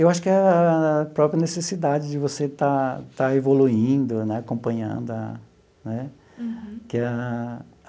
Eu acho que é a própria necessidade de você estar estar evoluindo né, acompanhando a né que é a.